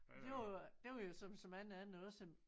Det var det var jo som så mange andre også